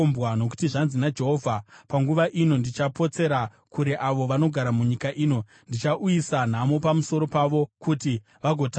Nokuti zvanzi naJehovha: “Panguva ino ndichapotsera kure avo vanogara munyika ino; Ndichauyisa nhamo pamusoro pavo kuti vagotapwa.”